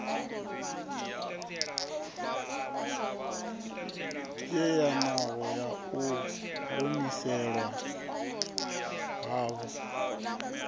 yelanaho na u humiselwa havho